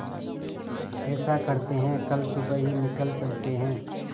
ऐसा करते है कल सुबह ही निकल चलते है